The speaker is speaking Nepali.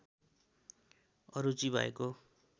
अरुचि भएको